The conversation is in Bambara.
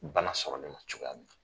Bana sɔrɔ len o cogoya de la.